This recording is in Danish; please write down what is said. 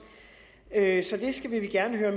at så det vil vi gerne høre